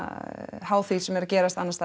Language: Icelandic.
háð því sem er að gerast annars staðar